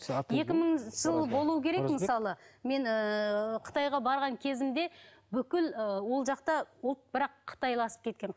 екі мыңыншы жылы болуы керек мысалы мен ііі қытайға барған кезімді бүкіл і ол жақта ұлт бірақ қытайласып кеткен